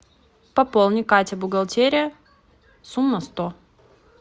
пополни катя бухгалтерия сумма сто